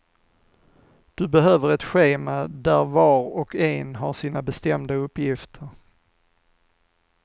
Du behöver ett schema där var och en har sina bestämda uppgifter.